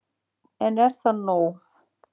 En er það nóg